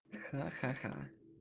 ха-ха-ха